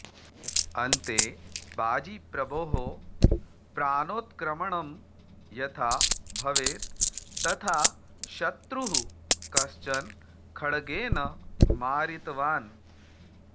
अन्ते बाजीप्रभोः प्राणोत्क्रमणं यथा भवेत् तथा शत्रुः कश्चन खड्गेन मारितवान्